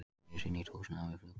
Reisi nýtt húsnæði við flugvöllinn